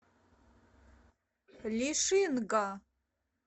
лишинга